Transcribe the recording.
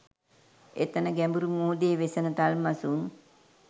එතැන ගැඹුරු මුහුදේ වෙසෙන තල්මසුන්